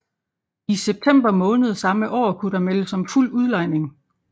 I september måned samme år kunne der meldes om fuld udlejning